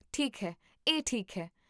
ਠੀਕ ਹੈ, ਇਹ ਠੀਕ ਹੈ